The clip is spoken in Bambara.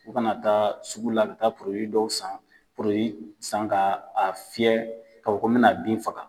U ka na taa sugu la, ka taa dɔw san . san ka a fiyɛ ka fɔ ko n bi na bin faga.